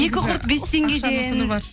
екі құрт бес теңгеден